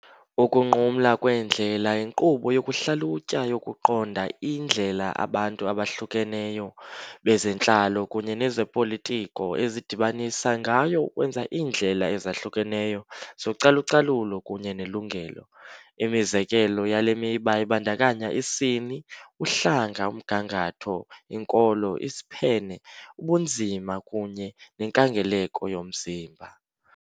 Ukunqumla Kweendlela yinkqubo yokuhlalutya yokuqonda indlela abantu abahlukeneyo, bezentlalo kunye nezopolitiko ezidibanisa ngayo ukwenza iindlela ezahlukeneyo zocalucalulo kunye nelungelo. Imizekelo yale miba ibandakanya isini, uhlanga, umgangatho, inkolo, isiphene, ubunzima kunye nenkangeleko yomzimba.